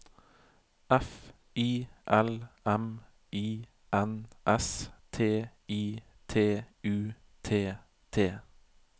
F I L M I N S T I T U T T